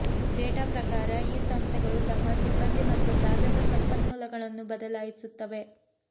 data ಪ್ರಕಾರ ಈ ಸಂಸ್ಥೆಗಳು ತಮ್ಮ ಸಿಬ್ಬಂದಿ ಮತ್ತು ಸಾಧನ ಸಂಪನ್ಮೂಲಗಳನ್ನು ಬದಲಾಯಿಸುತ್ತವೆ